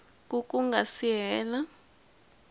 ku ku nga si hela